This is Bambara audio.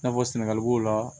I n'a fɔ sɛnɛgali b'o la